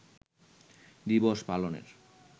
দিবস পালনের